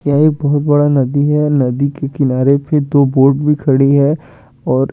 यह एक बहोत बड़ा नदी है नदी के किनारे पे दो बोट भी खड़ी है और--